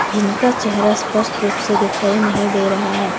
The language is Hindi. जिनका चेहरा स्पष्ट रूप से दिखाई नहीं दे रहा है।